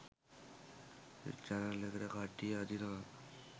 Channel එකට කට්ටිය අදිනවා.